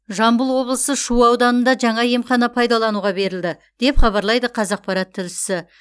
жамбыл облысы шу ауданында жаңа емхана пайдалануға берілді деп хабарлайды қазақпарат тілшісі